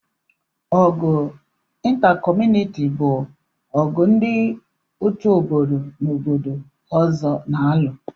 Ọgụ ịntra kọmunịti bụ ọgụ ndị otu obodo na obodo ọzọ n'alu